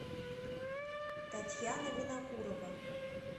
татьяна винокурова